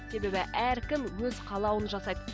себебі әркім өз қалауын жасайды